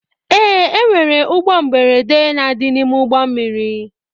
Ee, enwere ụgbọ mberede na adị n'ime ụgbọ mmiri.